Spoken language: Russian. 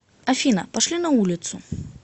афина пошли на улицу